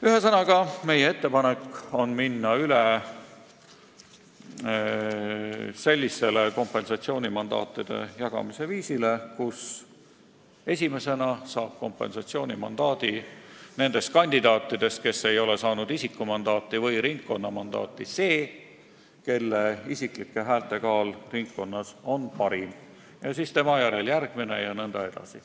Ühesõnaga, meie ettepanek on minna üle sellisele mandaatide jagamise viisile, kus nendest kandidaatidest, kes ei ole saanud isikumandaati või ringkonnamandaati, saab esimesena kompensatsioonimandaadi see, kelle isiklike häälte kaal ringkonnas on parim, tema järel järgmine jne.